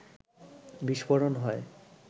বিস্ফোরণ হয়